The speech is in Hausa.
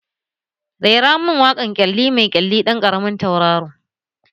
Rera mun waƙar ƙyalli mai ƙyalli ɗan ƙaramin tauraro!